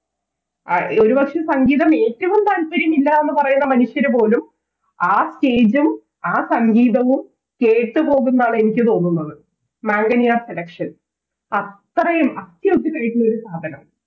അ ഏകദേശം സങ്കേതം ഏറ്റവും താല്പര്യമില്ലാന്ന് പറയണ മനുഷ്യരുപോലും ആ Stage ഉം ആ സംഗീതവും കേട്ട് പോകുംന്നാണ് എനിക്ക് തോന്നുന്നത് മാംഗനിയ കടക്ക്ഷൻ അത്രയും അത്യുഗ്രനായ ഒരു സാധനം